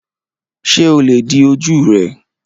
Ṣé o lè di ojú rẹ?